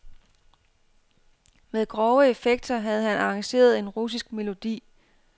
Med grove effekter havde han arrangeret en russisk melodi.